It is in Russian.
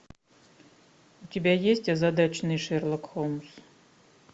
у тебя есть озадаченный шерлок холмс